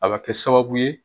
A bɛ kɛ sababu ye